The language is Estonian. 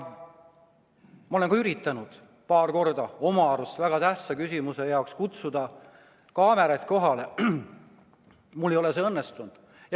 Ma olen ka üritanud paar korda enda arvates väga tähtsa küsimuse jaoks kutsuda kaameraid kohale, aga mul ei ole see õnnestunud.